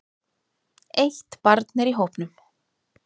Eitt barn er í hópnum.